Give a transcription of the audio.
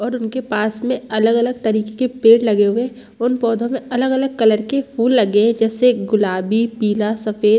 और उनके पास में अलग-अलग तरीके के पेड़ लगे हुए हैं उन पौधों में अलग-अलग कलर के फूल लगे हैं जैसे गुलाबी पीला सफेद।